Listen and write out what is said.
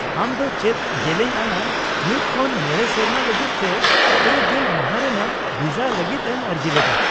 -ᱟᱢ ᱫᱚ ᱪᱮᱫ ᱡᱮᱞᱮᱧ ᱟᱱᱟᱜ ᱢᱤᱫ ᱠᱷᱚᱱ ᱢᱚᱬᱮ ᱥᱮᱨᱢᱟ ᱞᱟᱹᱜᱤᱫ ᱥᱮ ᱯᱮ ᱜᱮᱞ ᱢᱟᱦᱟ ᱨᱮᱱᱟᱜ ᱵᱷᱤᱥᱟ ᱞᱟᱹᱜᱤᱫ ᱮᱢ ᱟᱹᱨᱡᱤ ᱞᱮᱫᱟ ?